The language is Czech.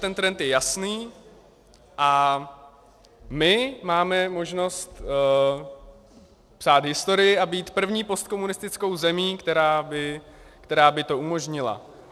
Ten trend je jasný a my máme možnost psát historii a být první postkomunistickou zemí, která by to umožnila.